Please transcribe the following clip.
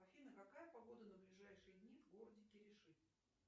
афина какая погода на ближайшие дни в городе кириши